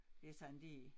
Det sådan det